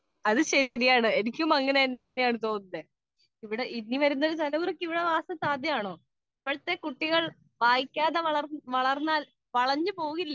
Speaker 2 അത് ശരിയാണ് എനിക്കും അങ്ങനെ തന്നെയാണ് തോന്നുന്നത് . ഇനി വരുന്നൊരു തലമുറക്ക് ഇവിടെ വാസം സാധ്യമാണോ വായിക്കാതെ വളർന്നാൽ കുട്ടികൾ വളഞ്ഞു പോവില്ലേ